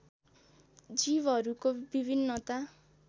जीवहरूको विभिन्नता